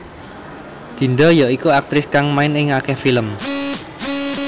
Dinda ya iku aktris kang main ing akèh film